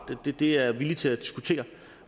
det er jeg villig til at diskutere